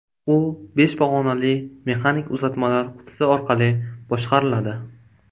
U besh pog‘onali mexanik uzatmalar qutisi orqali boshqariladi.